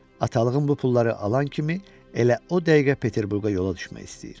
Atalığım bu pulları alan kimi elə o dəqiqə Peterburqa yola düşmək istəyir.